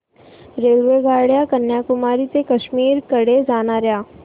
रेल्वेगाड्या कन्याकुमारी ते काश्मीर कडे जाणाऱ्या